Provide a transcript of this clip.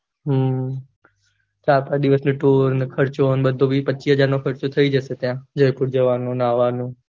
હમ ચાર પાંચ દિવસ નો ટૂર ને ખર્ચો ને બધું વી પચીશ હજાર નો ખર્ચો થઇ જશે ત્યાં જયપુર જવનું ને આવાનું